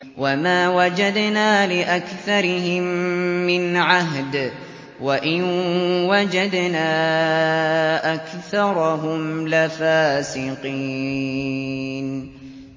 وَمَا وَجَدْنَا لِأَكْثَرِهِم مِّنْ عَهْدٍ ۖ وَإِن وَجَدْنَا أَكْثَرَهُمْ لَفَاسِقِينَ